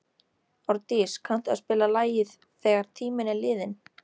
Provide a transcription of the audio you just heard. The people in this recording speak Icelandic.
Árdís, kanntu að spila lagið „Þegar tíminn er liðinn“?